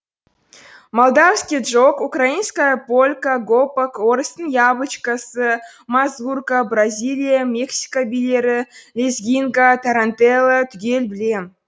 молдавский джок украинская полька гопак орыстың яблочкасы мазурка бразилия мексика билері лезгинка тарантелло түгел білем